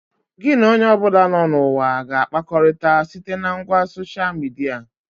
Gị na onye ọbụla nọ na ụwa ga-akpakọrịta site na ngwa soshia midia